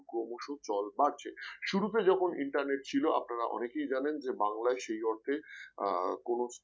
ক্রমশ চল বাড়ছে শুরুতে যখন internet ছিল আপনারা অনেকেই জানেন যে বাংলায় সেই অর্থে আহ কোন